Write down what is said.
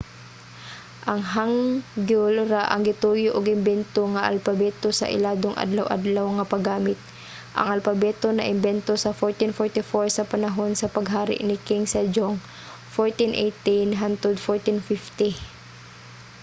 ang hangeul ra ang gituyo og imbento nga alpabeto sa iladong adlaw-adlaw nga paggamit. ang alpabeto naimbento sa 1444 sa panahon sa paghari ni king sejong 1418 – 1450